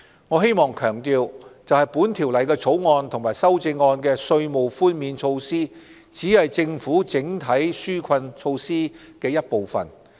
我希望強調，《2019年稅務條例草案》和修正案的稅務寬免措施只是政府整體紓困措施的一部分。